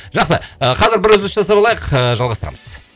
жақсы ы қазір бір үзіліс жасап алайық ыыы жалғастырамыз